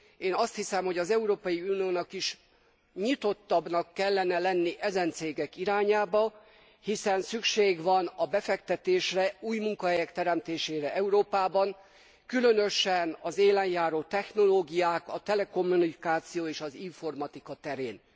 Én azt hiszem, hogy az Európai Uniónak is nyitottabbnak kellene lenni ezen cégek irányában, hiszen szükség van a befektetésre, új munkahelyek teremtésére Európában különösen az élen járó technológiák, a telekommunikáció és az informatika terén.